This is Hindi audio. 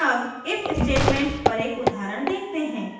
अब if statement पर एक उदाहरण देखते हैं